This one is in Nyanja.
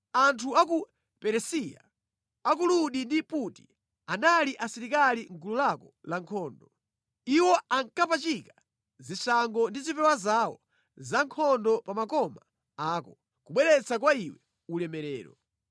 “Anthu a ku Perisiya, a ku Ludi ndi Puti anali asilikali mʼgulu lako la nkhondo. Iwo ankapachika zishango ndi zipewa zawo zankhondo pa makoma ako, kubweretsa kwa iwe ulemerero.